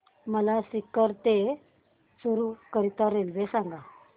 मला सीकर ते चुरु करीता रेल्वे सांगा